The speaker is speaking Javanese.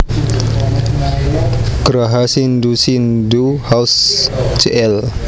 Graha Sindhu Sindhu House Jl